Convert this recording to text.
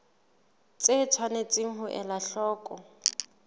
tse tshwanetseng ho elwa hloko